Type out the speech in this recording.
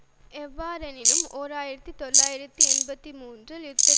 எவ்வாறெனினும் ஓர் ஆயிரத்தி தொள்ளாயிரத்து எண்பத்தி மூன்றில் யுத்தத்தை தொடக்கி